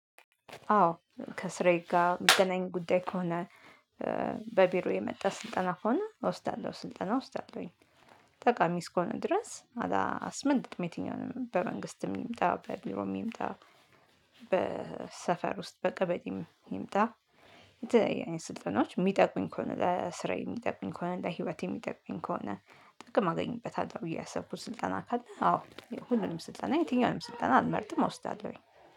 አዎ ከስሬ ጋር የሚገናኝ ጉዳይ ከሆነ በቢሮ የመጣ ስልጠና ከሆነ ሰዓት ስልጠና ውስዳአለውኝ። ጠቃሚ እስኮነ ድረስ አላ አስመልጥም በየትኛውም በመንግስትም ይምጣ በቢሮም ይምጣ። በሰፈር ውስጥ በቀበሌም ይምጣ። የተለየ ስልጠናዎች የሚጠቅሙኝ ከሆነ ለስራዬ የሚጠቅሙኝ ከሆነ ለህይወቴ የሚጠቅሙኝ ከሆነ ጥቅም አገኝበታለሁ ብዬ ያሰብኩት ስልጠና ካለ አዎ ሁሉንም ስልጠና የትኛውንም ስልጠና አልመርጥም አውስዳለሁኝ።